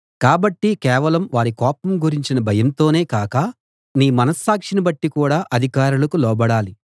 కాబట్టి కేవలం వారి కోపం గురించిన భయంతోనే కాక నీ మనస్సాక్షిని బట్టి కూడా అధికారులకు లోబడాలి